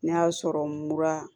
Ne y'a sɔrɔ n mura